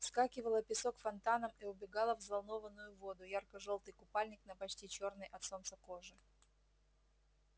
вскакивала песок фонтаном и убегала в взволнованную воду ярко-жёлтый купальник на почти чёрной от солнца коже